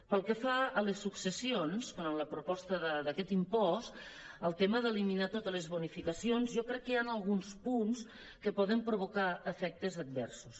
pel que fa a les successions en la proposta d’aquest impost el tema d’eliminar totes les bonificacions jo crec que hi han alguns punts que poden provocar efectes adversos